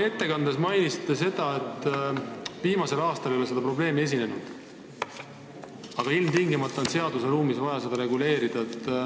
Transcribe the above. Oma ettekandes mainisite, et viimasel aastal ei ole seda probleemi esinenud, aga ilmtingimata on vaja seda seadusruumis reguleerida.